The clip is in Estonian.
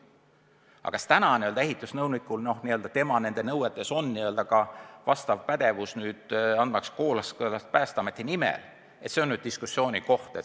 Aga kas ehitusnõunikuna töötavalt inimeselt nõutakse pädevust anda Päästeameti nimel kooskõlastusi, see on diskussiooniteema.